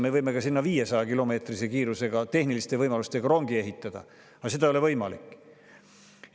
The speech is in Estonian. Me võime sinna ka 500‑kilomeetrise kiirusega tehniliste võimalustega rongi ehitada, aga seda ei ole võimalik.